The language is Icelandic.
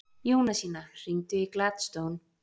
Jónasína, hringdu í Gladstone.